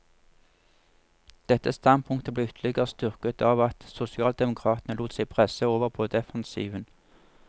Dette standpunktet ble ytterligere styrket av at sosialdemokratene lot seg presse over på defensiven.